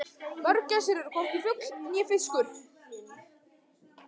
Mörgæsir eru hvorki fugl né fiskur.